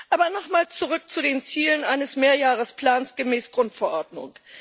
Aber nochmal zurück zu den Zielen eines Mehrjahresplans gemäß der Grundverordnung.